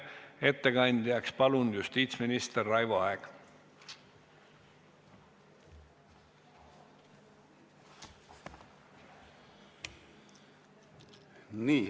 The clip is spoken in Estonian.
Ettekandjaks palun justiitsminister Raivo Aegi!